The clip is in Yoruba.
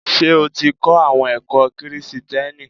Ṣé o ti kọ́ àwọn ẹ̀kọ́ Kìrisìtìẹ́nì?